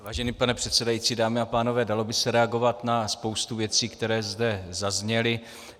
Vážený pane předsedající, dámy a pánové, dalo by se reagovat na spoustu věcí, které zde zazněly.